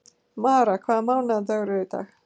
Mara, hvaða mánaðardagur er í dag?